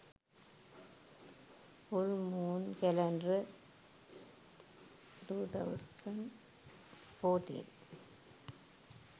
full moon calendar 2014